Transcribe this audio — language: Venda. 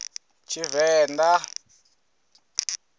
tshivenḓa